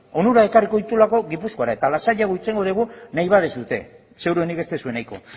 eta lasaiago hitz egingo dugu nahi baduzue ziurrenik ez duzuela nahiko